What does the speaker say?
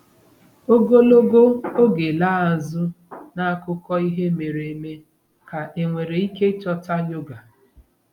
Ogologo oge laa azụ n'akụkọ ihe mere eme ka enwere ike ịchọta yoga?